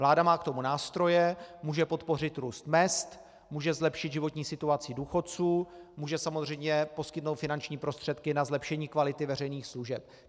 Vláda má k tomu nástroje, může podpořit růst mezd, může zlepšit životní situaci důchodců, může samozřejmě poskytnout finanční prostředky na zlepšení kvality veřejných služeb.